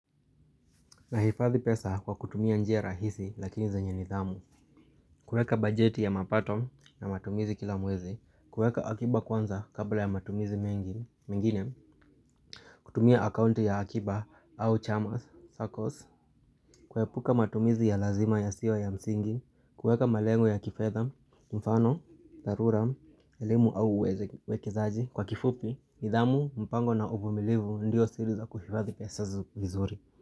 Nahifadhi pesa kwa kutumia njia rahisi lakini zenye nidhamu kueka bajeti ya mapato na matumizi kila mwezi kueka akiba kwanza kabla ya matumizi mengine kutumia akaunti ya akiba au chamas, circles kuepuka matumizi ya lazima yasiyo ya msingi kueka malengo ya kifedha, mfano, dharura, elimu au uwekezaji Kwa kifupi, nidhamu, mpango na uvumilivu ndio siri za kuhifadhi pesa vizuri.